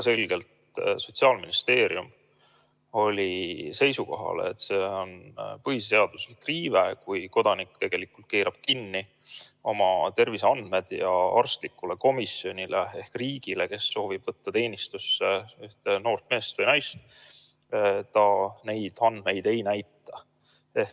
Sotsiaalministeerium oli siis väga selgelt seisukohal, et see on põhiseaduslik riive, kui kodanik keerab kinni oma terviseandmed ja arstlikule komisjonile ehk riigile, kes soovib võtta teenistusse ühte noort meest või naist, neid andmeid ei näita.